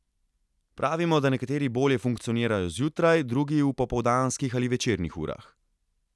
Pravimo, da nekateri bolje funkcionirajo zjutraj, drugi v popoldanskih ali večernih urah.